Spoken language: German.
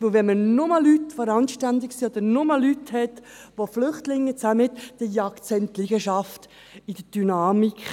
Wenn man nur randständige Leute oder nur Flüchtlinge in den Liegenschaften hat, verjagt es diese beinahe wegen der Dynamik.